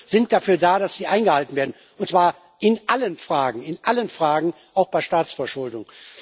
Regeln sind dafür da, dass sie eingehalten werden, und zwar in allen Fragen in allen Fragen, auch bei der Staatsverschuldung.